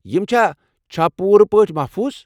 یِم چھا چھا پوٗرٕ پٲٹھۍ محفوظ؟